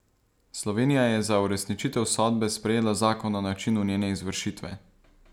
Slovenija je za uresničitev sodbe sprejela zakon o načinu njene izvršitve.